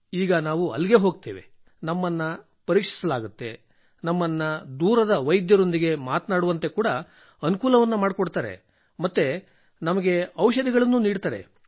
ಈಗ ನಾವು ಹೋಗುತ್ತೇವೆ ನಮ್ಮನ್ನು ಪರೀಕ್ಷಿಸಲಾಗುತ್ತದೆ ನಮ್ಮನ್ನು ದೂರದ ವೈದ್ಯರೊಂದಿಗೆ ಮಾತನಾಡುವಂತೆ ಕೂಡ ಅನುಕೂಲ ಮಾಡುತ್ತಾರೆ ಮತ್ತು ನಮಗೆ ಔಷಧಿಗಳನ್ನೂ ನೀಡುತ್ತಾರೆ